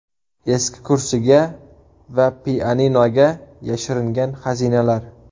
Eski kursiga va pianinoga yashiringan xazinalar.